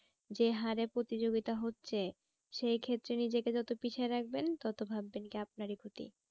যে হারে প্রতিযোগিতা হচ্ছে সেই ক্ষেত্রে নিজেকে যত পিছিয়ে রাখবেন তত ভাববেন কি আপনারই ক্ষতি।